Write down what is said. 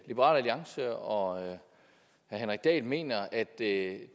liberal alliance og herre henrik dahl mener at det